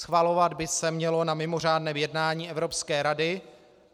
Schvalovat by se mělo na mimořádném jednání Evropské rady.